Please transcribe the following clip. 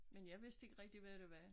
Men jeg vidste ikke rigtig hvad det var